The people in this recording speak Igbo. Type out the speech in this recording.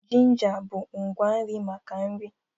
Ginja bụ ngwa nri maka nri